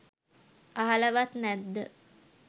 අහලවත් නැද්ද